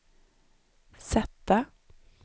sätta